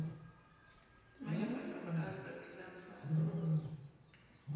le manyofonyofo a swabisang tsama